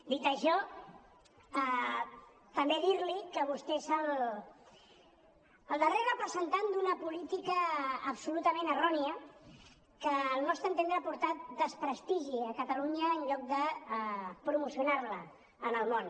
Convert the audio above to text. dit això també dir li que vostè és el darrer representant d’una política absolutament errònia que al nostre entendre ha portat desprestigi a catalunya en lloc de promocionar la en el món